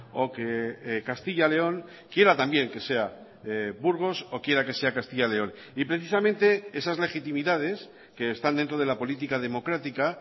o que castilla león quiera también que sea burgos o quiera que sea castilla león y precisamente esas legitimidades que están dentro de la política democrática